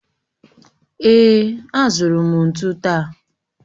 Èè, azụrụ m ntụ taa